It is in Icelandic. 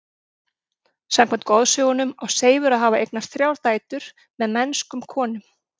Samkvæmt goðsögunum á Seifur að hafa eignast þrjár dætur með mennskum konum.